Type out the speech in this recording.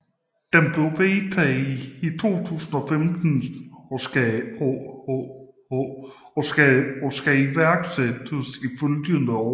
Den blev vedtaget i 2015 og skal iværksættes i de følgende år